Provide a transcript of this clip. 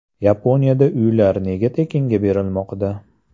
Yaponiyada uylar nega tekinga berilmoqda?